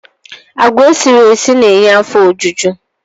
Agwa esiri esi na-enye afọ ojuju